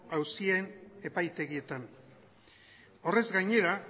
auzien epaitegietan horrez gainera